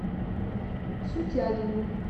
сутягину